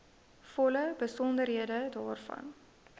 volle besonderhede daarvan